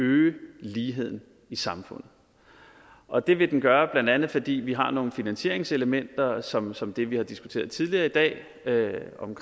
øge ligheden i samfundet og det vil den gøre blandt andet fordi vi har nogle finansieringselementer som som det vi har diskuteret tidligere i dag om